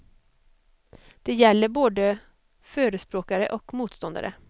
Det gäller både förespråkare och motståndare.